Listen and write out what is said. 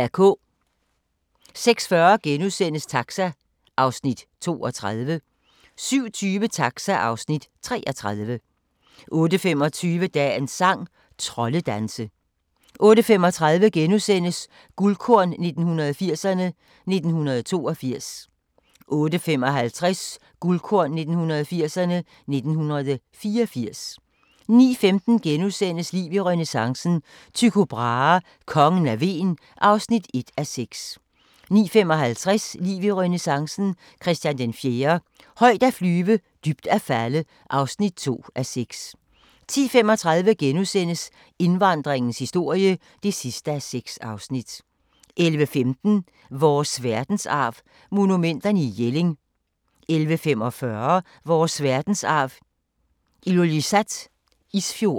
06:40: Taxa (Afs. 32)* 07:20: Taxa (Afs. 33) 08:25: Dagens sang: Troldedanse 08:35: Guldkorn 1980'erne: 1982 * 08:55: Guldkorn 1980'erne: 1984 09:15: Liv i renæssancen – Tycho Brahe: Kongen af Hven (1:6)* 09:55: Liv i renæssancen – Christian IV - højt at flyve, dybt at falde (2:6) 10:35: Indvandringens historie (6:6)* 11:15: Vores Verdensarv: Monumenterne i Jelling 11:45: Vores verdensarv: Ilulissat Isfjord